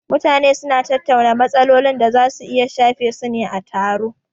Mutane su na tattauna matsalolin da su ka shafe su ne a taro